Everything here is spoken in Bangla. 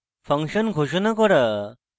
function ঘোষণা করা